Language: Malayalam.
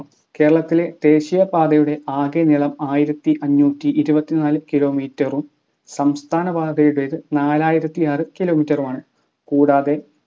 കേരളത്തിലെ ദേശീയപാതയുടെ ആകെ നീളം ആയിരത്തി അഞ്ഞൂറ്റി ഇരുപത്തിനാല് Kilometer ഉം സംസ്ഥാനപാതയുടേത് നാലായിരത്തി ആർ kilometer ഉമാണ്. കൂടാതെ